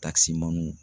Takisimanw